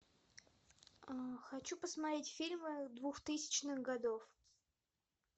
хочу посмотреть фильмы двухтысячных годов